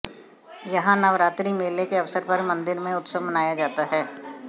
यहाँ नवरात्रि मेले के अवसर पर मंदिर में उत्सव मनाया जाता है